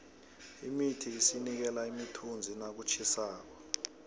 imithi isinikela imithunzi nakutjhisako